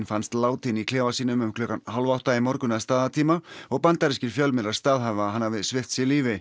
fannst látinn í klefa sínum um hálf átta í morgun að staðartíma og bandarískir fjölmiðlar staðhæfa að hann hafi svipt sig lífi